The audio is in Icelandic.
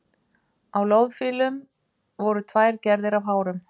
Á loðfílum voru tvær gerðir af hárum.